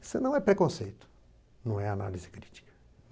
Isso não é preconceito, não é análise crítica.